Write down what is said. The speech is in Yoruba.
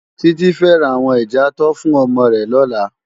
Titi fè rá áwòn ijàátò fún òmò rè lòlá